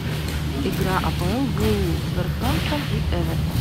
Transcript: игра апл вулверхэмптон и эвертон